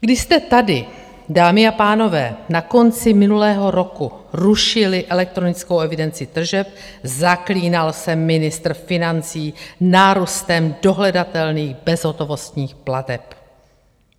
Když jste tady, dámy a pánové, na konci minulého roku rušili elektronickou evidenci tržeb, zaklínal se ministr financí nárůstem dohledatelných bezhotovostních plateb.